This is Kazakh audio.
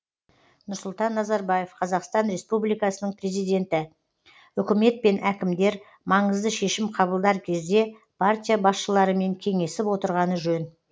нұрсұлтан назарбаев қазақстан республикасының президенті үкімет пен әкімдер маңызды шешім қабылдар кезде партия басшыларымен кеңесіп отырғаны жөн